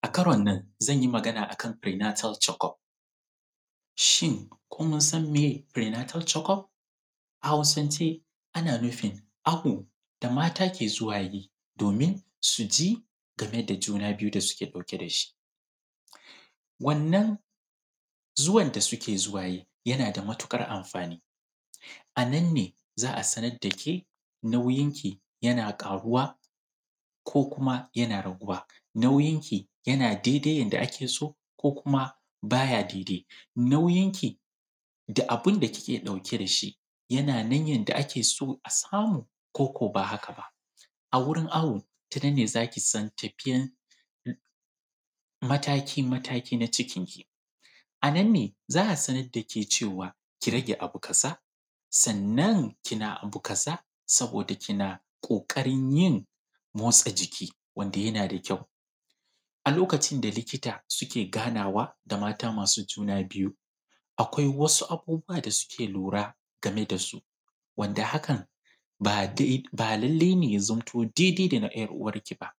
A karon nan, zan yi magana ne a kan Pre-natal checkup. Shin ko mun san meye Pre-natal checkup? A Hausance, ana nufin awo da mata ke zuwa yi, domin su ji game da juna biyu da suke ɗauke da shi. Wannan zuwan da suke zuwa yi, yana da matuƙar amfani. A nan ne za a sanar da ke, nauyinki yana ƙaruwa, ko kuma yana raguwa? Nauyinki, yana daidai yadda ake so? Ko kuma bay a daidai? Nauyinki, da abun da kike ɗauke da shi, yana nan yadda ake so a samu, ko ko ba haka ba? A wurin awo, ta nan ne za ki san tafiyan, mataki-mataki na cikinki. A nan ne za a sanar da ke cewa, ki rage abu kaza, sannan kina abu kaza saboda kina ƙiƙarin yin motsa jiki wanda yana da kyau. A lokacin da likita suke ganawa da mata masu juna biyu, akwai wasu abubuwa da suke lura game da su, wadda hakan ba dai, ba lallai ne ya zamto daidai da na `yar’uwarki ba.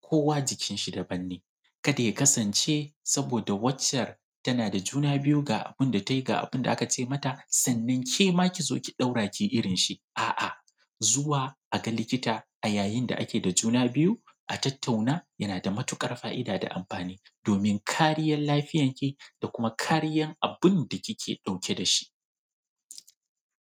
Kowa jikinshi daban ne, kada ya kasance saboda waccan tana da juna biyu ga abun da ta yi, ga abun da aka ce mata, sannan ke ma ki zo ki ɗora ki yi irinshi, a’a. Zuwa a ga likita a yayin da ake da juna biyu, a tattauna, yana da matuƙar fa’ida da amfani domin kariyar lafiyarki da kuma kariyar abun da kike ɗauke da shi.